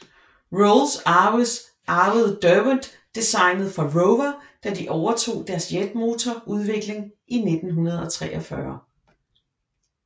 Rolls arvede Derwent designet fra Rover da de overtog deres jetmotor udvikling i 1943